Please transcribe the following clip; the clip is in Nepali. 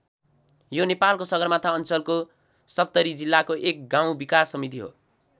यो नेपालको सगरमाथा अञ्चलको सप्तरी जिल्लाको एक गाउँ विकास समिति हो।